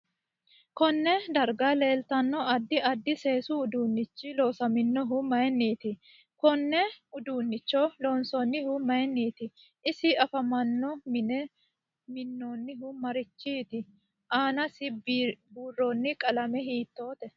Konne darga leeltano addi addi seesu uduunichi loosaminohu mayiiniti kone uduunicho loonsonihu mayiiniti isi afamanno mine minoonihu marichiniiti aanasi biironi qalame hiitoote